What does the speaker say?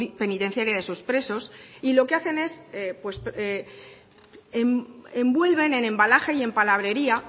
penitenciaria de esos presos y lo que hacen es envuelven en embalaje y palabrería